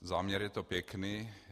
Záměr je to pěkný.